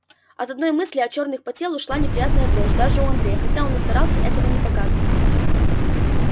от одной мысли о чёрных по телу шла неприятная дрожь даже у андрея хотя он и старался этого не показывать